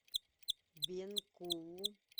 бенкулу